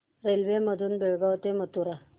railway मधून बेळगाव ते मथुरा